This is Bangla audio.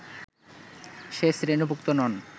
সে শ্রেণীভুক্ত নন